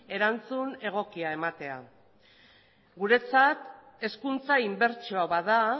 erantzun egokia ematea guretzat hezkuntza inbertsioa bat da